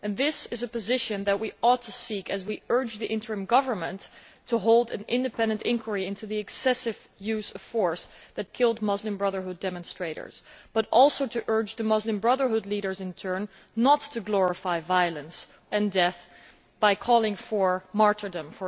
This is a position that we ought to seek to maintain as we urge the interim government to hold an independent inquiry into the excessive use of force that killed Muslim Brotherhood demonstrators, and also urge the Muslim Brotherhood leaders, in turn, not to glorify violence and death, for example by calling for martyrdom.